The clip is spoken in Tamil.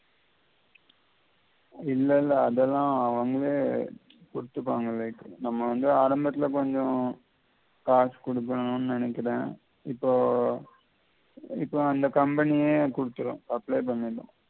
இல்லல்ல அதெல்லாம் அவங்களே குடுத்திப்பாங்க later நம்ம வந்து ஆரம்பத்தில கொஞ்சம் காசு குடுக்கணும்னு நெனைக்கிறேன் இப்போ இப்போ அந்த company யே குடுத்திடும்